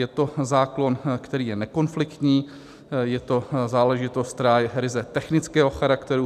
Je to zákon, který je nekonfliktní, je to záležitost, která je ryze technického charakteru.